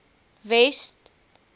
west